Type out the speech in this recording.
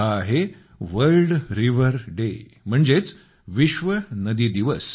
हा आहे World River Day म्हणजेच विश्व नदी दिवस